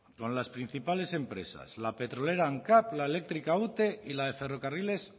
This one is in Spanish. con las principales empresas la petrolera ancap la eléctrica ute y la de ferrocarriles